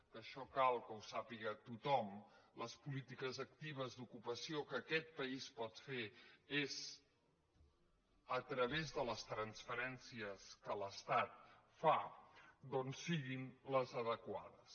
que això cal que ho sàpiga tothom les polítiques actives d’ocupació que aquest país pot fer és a través de les transferències que l’estat fa doncs siguin les adequades